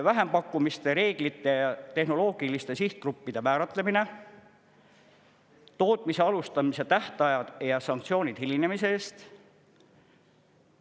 Vähempakkumiste reeglite, tehnoloogiliste sihtgruppide määratlemine, tootmise alustamise tähtajad ja sanktsioonid hilinemise eest.